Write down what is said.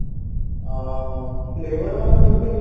ଅ flavor ବାଲା କରିଥିଲୁ